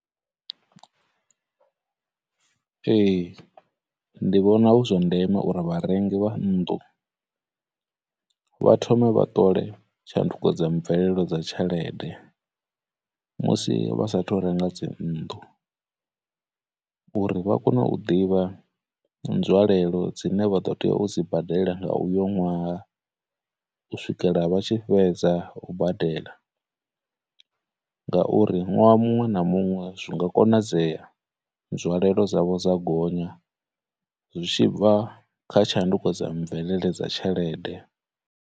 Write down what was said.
Ee, ndi vhona hu zwa ndeme uri vharengi vha nnḓu vha thome vha ṱole tshanduko dza mvelelo dza tshelede musi vha sa thu renga dzinnḓu, uri vha kone u ḓivha nzwalelo dzine vha ḓo teya u dzi badela nga uyo ṅwaha u swikela vha tshi fhedza u badela, ngauri ṅwaha muṅwe na muṅwe zwi nga konadzea nzwangalelo dzavho dza gonya zwi tshi bva kha tshanduko dza mvelele dza tshelede.